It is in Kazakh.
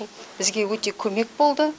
бізге өте көмек болды